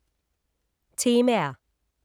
Temaer